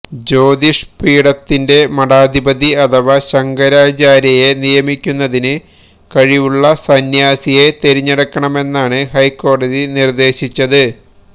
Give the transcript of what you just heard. ജ്യോതിഷ് പീഠത്തിന്റെ മഠാധിപതി അഥവാ ശങ്കരാചാര്യയെ നിയമിക്കുന്നതിന് കഴിവുളള സന്യാസിയെ തെരഞ്ഞെടുക്കണമെന്നാണ് ഹൈക്കോടതി നിര്ദേശിച്ചത്